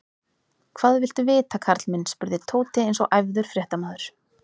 Hvað viltu vita, karl minn? spurði Tóti eins og æfður fréttamaður.